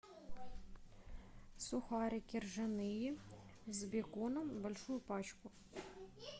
сухарики ржаные с беконом большую пачку